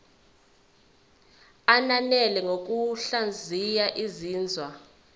ananele ngokuhlaziya izinzwa